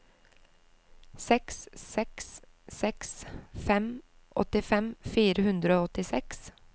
seks seks seks fem åttifem fire hundre og åttiseks